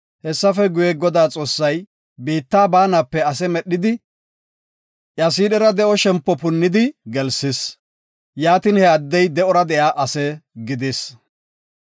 Hessafe guye, Godaa Xoossay biitta baanape ase medhidi iya siidhera de7o shempo punnidi gelsis. Yaatin, he addey de7ora de7iya ase gidis.